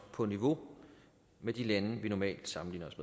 på niveau med de lande vi normalt sammenligner os